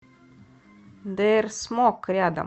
дээрсмок рядом